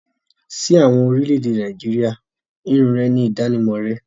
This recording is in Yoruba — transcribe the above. Sí àwọn ará orílẹ̀-èdè Nàìjíríà irun rẹ ni ìdánimọ̀ rẹ.